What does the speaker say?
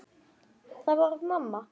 Það var mamma.